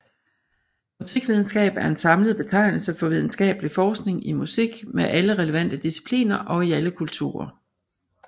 Musikvidenskab er en samlet betegnelse for videnskabelig forskning i musik med alle relevante discipliner og i alle kulturer